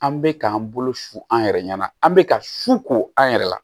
An bɛ k'an bolo su an yɛrɛ ɲɛna an bɛ ka su ko an yɛrɛ la